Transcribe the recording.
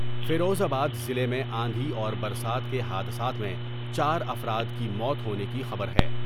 فیروز آباد ضلع میں آندھی اور برسات کے حادثات میں چارافراد کی موت ہونے کی خبر ہے ۔